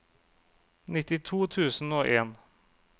nittito tusen og en